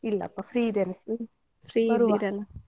ಇಲ್ಲಪಾ free ಇದೇನೆ ಬರುವ.